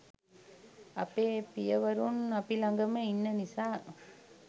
අපේ පියවරුන් අපි ලගම ඉන්න නිසා